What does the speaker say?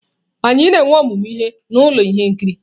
Anyị na-enwe ọmụmụ ihe na ụlọ ihe nkiri.